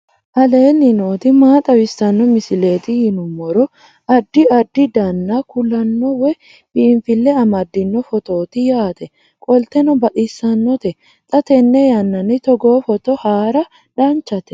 aleenni nooti maa xawisanno misileeti yinummoro addi addi dananna kuula woy biinfille amaddino footooti yaate qoltenno baxissannote xa tenne yannanni togoo footo haara danchate